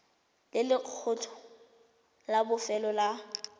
le lekgetho la bofelo la